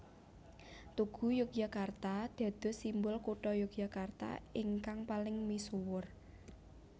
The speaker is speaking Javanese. Tugu Yogyakarta dados simbol Kutha Yogyakarta ingkang paling misuwur